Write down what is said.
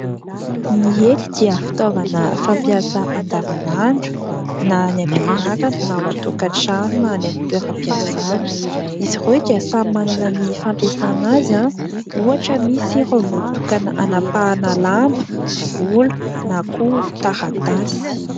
Ny hety dia fitaovana fampiasa andavan'andro na any ampianarana na any an-tokatrano na any amin'ny toeram-piasana. Izy ireo dia samy manana ny fampiasana azy, ohatra misy ireo voatokana hanapahana lamba, volo na koa taratasy.